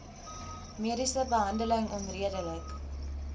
mediese behandeling onredelik